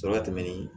Sɔrɔ ka tɛmɛ ni